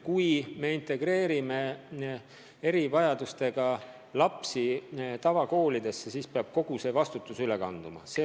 Kui me integreerime erivajadustega lapsi tavakoolidesse, siis peab kogu see vastutus üle kanduma.